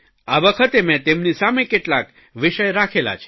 આ વખતે મેં તેમની સામે કેટલાક વિષય રાખેલા છે